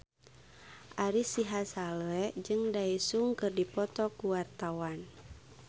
Ari Sihasale jeung Daesung keur dipoto ku wartawan